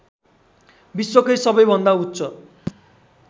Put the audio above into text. विश्वकै सबैभन्दा उच्च